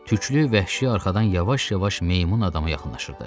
Tüklü vəhşi arxadan yavaş-yavaş meymun adama yaxınlaşırdı.